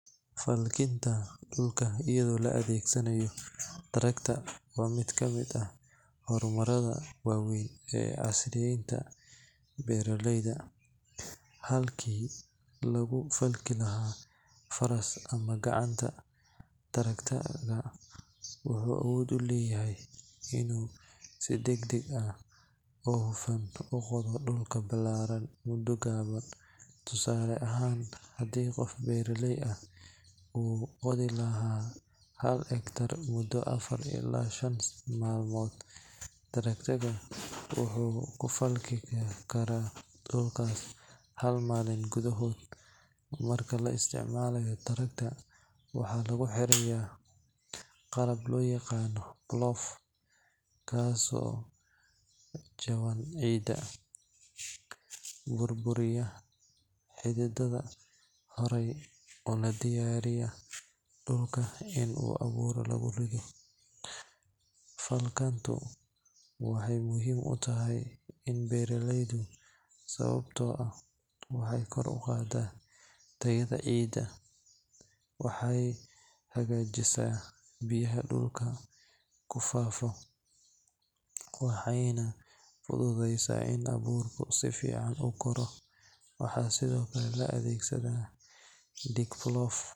Falkinta dulka ayado la adeegsanaayo tracker waa mid kamid ah hor marka weyn ee beeraleyda, wuxuu uqooda dul balaaran mudo kooban, hal malin ayuu dulka ku falki karaa, marka la isticmalayo waxaa lagu xiraa qalab burburiya xidadaha, waxaay muhiim utahay beeraleyda, waxeey kor uqaada dulka, waxeey fududeysa in abuurka si fican ukoro.